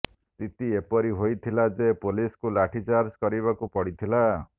ସ୍ଥିତି ଏପରି ହୋଇଥିଲା ଯେ ପୋଲିସକୁ ଲାଠିଚାର୍ଜ କରିବାକୁ ପଡ଼ିଥିଲା